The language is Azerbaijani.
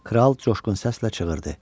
Kral çoşqun səslə çığırdı: